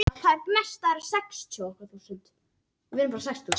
Ekki er heldur vitað til að þarna hafi verið búseta.